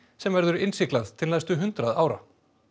sem verður innsiglað til næstu hundrað ára